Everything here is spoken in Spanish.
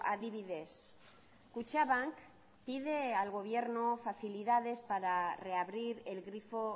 adibidez kutxabank pide al gobierno facilidades para reabrir el grifo